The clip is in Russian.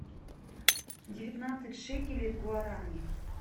девятнадцать шекелей в гуарани